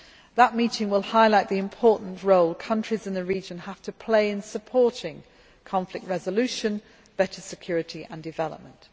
That meeting will highlight the important role countries in the region have to play in supporting conflict resolution, better security and development.